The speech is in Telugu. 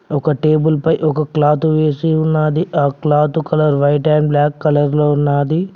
ఒక టేబుల్ పై ఒక క్లాత్ వేసి ఉన్నది ఆ cloth colour white and black colour లో ఉన్నది.